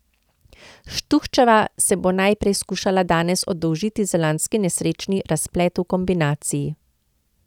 Štuhčeva se bo najprej skušala danes oddolžiti za lanski nesrečni razplet v kombinaciji.